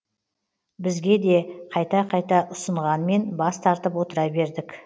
бізге де қайта қайта ұсынғанмен бас тартып отыра бердік